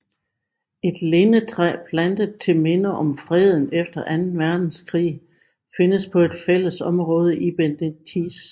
Et lindetræ plantet til minde om freden efter anden verdenskrig findes på et fælledområde i Benetice